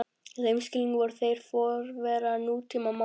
Í þeim skilningi voru þeir forverar nútímamálara.